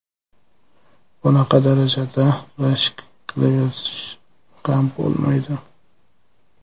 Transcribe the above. Bunaqa darajada rashk qilaverish ham bo‘lmaydi.